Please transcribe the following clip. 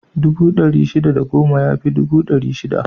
Dubu ɗari shida da goma ya fi dubu ɗari shida.